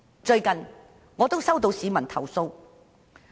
最近，我接獲一名市民的投訴。